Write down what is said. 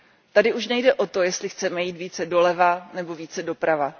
Tady už nejde o to, jestli chceme jít více doleva nebo více doprava.